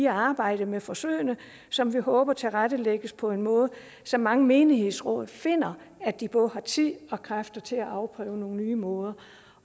arbejde med forsøgene som vi håber tilrettelægges på en måde så mange menighedsråd finder at de både har tid og kræfter til at afprøve nogle nye måder